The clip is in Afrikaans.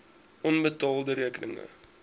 onbetaalde rekeninge